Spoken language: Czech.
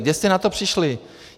Kde jste na to přišli?